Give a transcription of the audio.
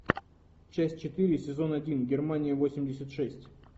часть четыре сезон один германия восемьдесят шесть